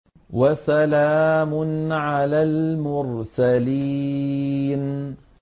وَسَلَامٌ عَلَى الْمُرْسَلِينَ